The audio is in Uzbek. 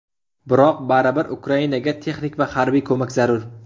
Biroq baribir Ukrainaga texnik va harbiy ko‘mak zarur.